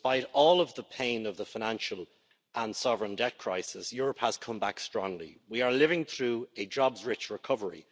Despite all of the pain of the financial and sovereign debt crisis, Europe has come back strongly. We are living through a jobs rich recovery.